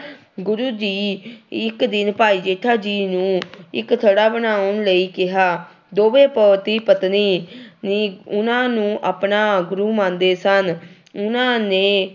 ਗੁਰੂ ਜੀ ਇੱਕ ਦਿਨ ਭਾਈ ਜੇਠਾ ਜੀ ਨੂੰ ਇੱਕ ਥੜਾ ਬਣਾਉਣ ਲਈ ਕਿਹਾ, ਦੋਵੇਂ ਪਤੀ ਪਤਨੀ ਨੀ ਉਹਨਾਂ ਨੂੰ ਆਪਣਾ ਗੁਰੂ ਮੰਨਦੇ ਸਨ, ਉਹਨਾਂ ਨੇ